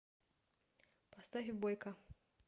поставь бойка